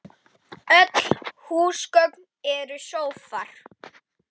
Öll húsgögn eru sófar